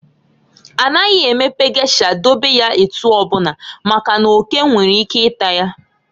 A naghị emepe gesha dobe ya etu ọbụna, maka n'oke nwere ike ịta ya.